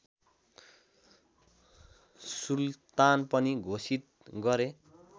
सुल्तान पनि घोषित गरे